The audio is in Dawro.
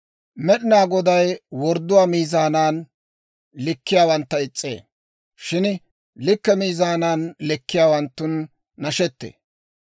Med'inaa Goday wordduwaa miizaanan likkiyaawantta is's'ee; shin likke miizaanan likkiyaawanttun nashettee.